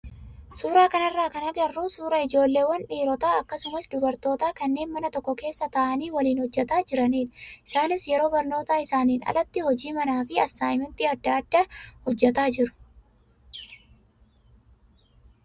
Suuraa kanarraa kan agarru suuraa ijoolleewwan dhiirotaa akkasumas dubarootaa kanneen mana tokko keessa taa'anii waliin hojjataa jiranidha. Isaanis yeroo barnoota isaaniin alatti hojii manaa fi assaayimentii adda addaa hojjataa jiru.